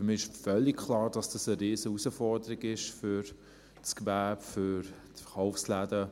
Für mich ist völlig klar, dass dies eine riesige Herausforderung für das Gewerbe, für die Verkaufsläden ist.